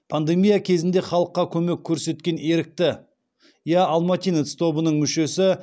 пандемия кезінде халыққа көмек көрсеткен ерікті я алматинец тобының мүшесі